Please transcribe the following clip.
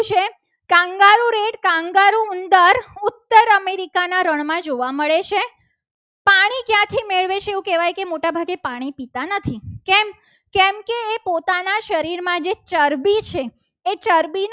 Kangaroo અંદર ઉત્તર america ના રણમાં જોવા મળે છે. પાણી ક્યાંથી મેળવે છે. તો એવું મોટાભાગે કહેવાય છે. કે પાણી પીતા નથી. કેમ કેમકે પોતાના શરીરમાં જે ચરબી છે. એ ચરબી